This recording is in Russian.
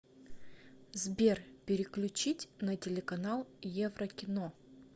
сбер переключить на телеканал еврокино